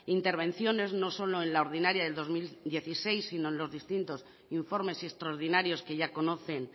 intervenciones no solo en la ordinaria del dos mil dieciséis sino en los distintos informes extraordinarios que ya conocen